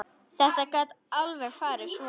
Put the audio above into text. Þetta gat alveg farið svona.